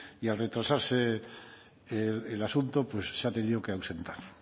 y al retrasarse el asunto pues se ha tenido que ausentar